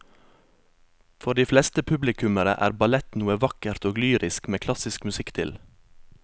For de fleste publikummere er ballett noe vakkert og lyrisk med klassisk musikk til.